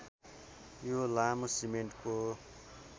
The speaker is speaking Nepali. यो लामो सिमेन्टको